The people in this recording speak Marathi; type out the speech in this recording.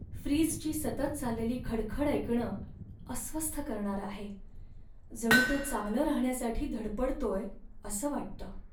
फ्रीजची सतत चाललेली खडखड ऐकणं अस्वस्थ करणारं आहे, जणू तो चांगलं राहण्यासाठी धडपडतोय असं वाटतं.